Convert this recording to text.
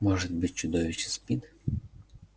может быть чудовище спит